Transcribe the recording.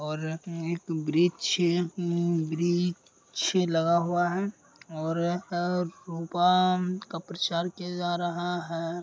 और एक बिरिक्ष छे उम् वृक्ष लगा हुआ है और अ का प्रचार किया जा रहा है।